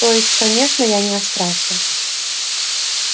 то есть конечно я не о страхе